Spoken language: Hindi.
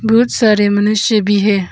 बहुत सारे मनुष्य भी है।